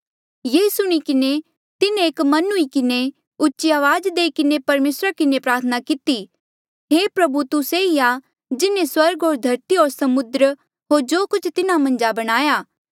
ये सुणी किन्हें तिन्हें एक मन हुई किन्हें उची अवाज देई किन्हें परमेसरा किन्हें प्रार्थना किती हे प्रभु तू से ई आ जिन्हें स्वर्ग होर धरती होर समुद्र होर जो कुछ तिन्हा मन्झ आ बणाया